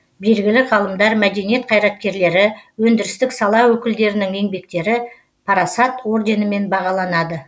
белгілі ғалымдар мәдениет қайраткерлері өндірістік сала өкілдерінің еңбектері парасат орденімен бағаланды